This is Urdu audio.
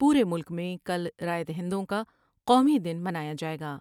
پورے ملک میں کل رائے دہندوں کا قومی دن منایا جائے گا ۔